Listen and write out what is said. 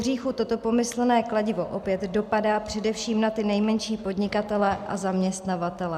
Pohříchu toto pomyslné kladivo opět dopadá především na ty nejmenší podnikatele a zaměstnavatele.